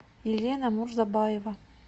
елена мурзабаева